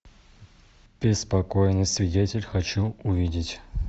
беспокойный свидетель хочу увидеть